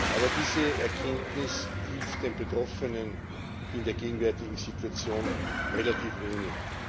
Aber diese Erkenntnis hilft den Betroffenen in der gegenwärtigen Situation relativ wenig.